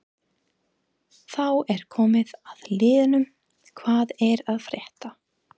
Þá er komið að liðnum Hvað er að frétta?